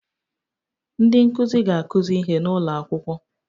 Ndị nkuzi ga-akụzi ihe n'ụlọ akwụkwọ